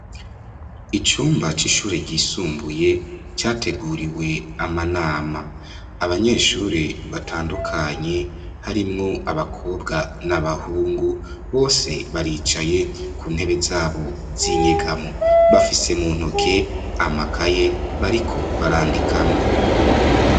Icumba c'ishure ryisumbuye categuriwe amanama. Abanyeshure batandukanye harimwo abakobwa n'abahungu bose baricaye kuntebe zabo z'inyegamo. Bafise amakaye bariko barandikamwo.